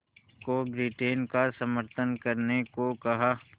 को ब्रिटेन का समर्थन करने को कहा